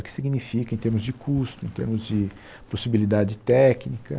O que significa em termos de custo, em termos de possibilidade técnica?